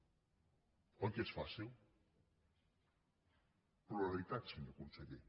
oi que és fàcil pluralitat senyor conseller